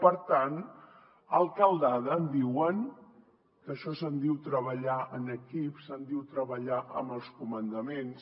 per tant alcaldada en diuen d’això se’n diu treballar en equip se’n diu treballar amb els comandaments